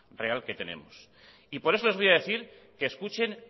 real que tenemos y por eso les voy a decir que escuchen